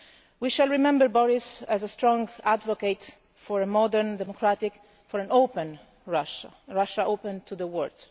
We shall remember Boris as a strong advocate for a modern, democratic and open Russia a Russia open to the world.